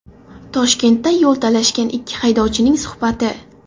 Toshkentda yo‘l talashgan ikki haydovchining suhbati.